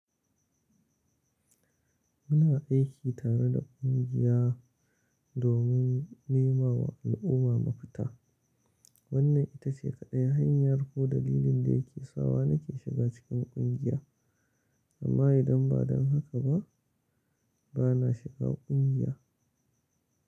Muna aiki tare da kungiya domin nema wa al'umma mafita. Wannan ita ce kaɗai hanyar ko dalilin da yake sawa nake shiga cikin kungiya. Amma idan ba don haka ba, ba na shiga kungiya.